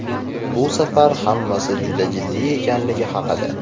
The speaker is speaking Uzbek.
Bu safar hammasi juda jiddiy ekanligi haqida.